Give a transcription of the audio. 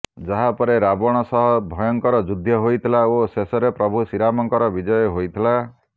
ଯାହାପରେ ରାବଣ ସହ ଭୟଙ୍କର ଯୁଦ୍ଧ ହୋଇଥିଲା ଓ ଶେଷରେ ପ୍ରଭୁ ଶ୍ରୀରାମଙ୍କର ବିଜୟ ହୋଇଥିଲା